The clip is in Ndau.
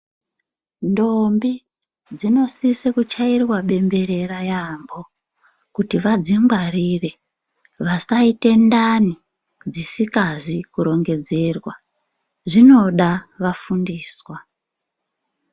Ndombi dzinosisa kuchairwa bembe yambo kuti vadzingwarire vasaite ndani isikazi kurongedzerwa inoda vafundiswa